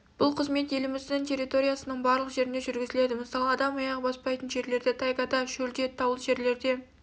бұл қызмет еліміздің территориясының барлық жерінде жүргізіледі мысалы адам аяғы баспайтын жерлерде тайгада шөлде таулы жерлерде